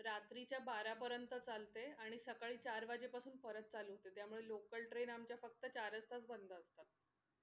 रात्रीच्या बारा परेंत चालते आणि सकाळी चार वाजेपासून परत चालू होते त्यामुळे local train आमच्या फक्त चारच तास बंद असतात.